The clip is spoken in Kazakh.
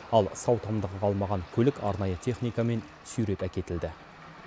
ал сау тамдығы қалмаған көлік арнайы техникамен сүйреп әкетілді